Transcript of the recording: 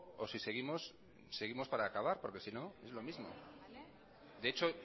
o si seguimos seguimos para acabar porque sino es lo mismo de hecho